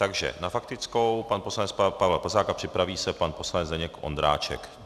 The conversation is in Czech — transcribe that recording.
Takže na faktickou pan poslanec Pavel Plzák a připraví se pan poslanec Zdeněk Ondráček.